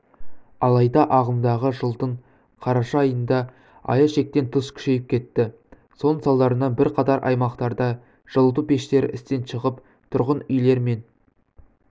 алайда ағымдағы жылдың қараша айында аяз шектен тыс күшейіп кетті соның салдарынан бірқатар аймақтарда жылыту пештері істен шығып тұрғын үйлер мен